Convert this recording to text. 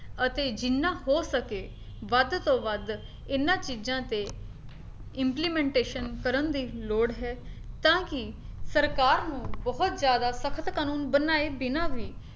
ਅਤੇ ਜਿੰਨਾ ਹੋ ਸਕੇ ਵੱਧ ਤੋਂ ਵੱਧ ਇਹਨਾਂ ਚੀਜ਼ਾਂ ਤੇ implementation ਕਰਨ ਦੀ ਲੋੜ ਹੈ ਤਾਂ ਕੀ ਸਰਕਾਰ ਨੂੰ ਬਹੁਤ ਜ਼ਿਆਦਾ ਸਖਤ ਕਾਨੂੰਨ ਬਣਾਏ ਬਿਨਾਂ ਵੀ